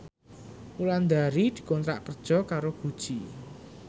Wulandari dikontrak kerja karo Gucci